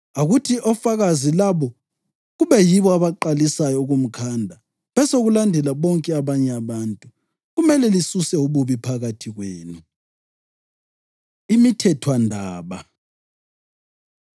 Akuthi ofakazi labo kube yibo abaqalisayo ukumkhanda, besekulandela bonke abanye abantu. Kumele lisuse ububi phakathi kwenu.” Imithethwandaba